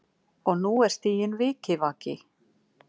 Og nú er stiginn vikivaki.